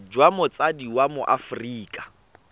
jwa motsadi wa mo aforika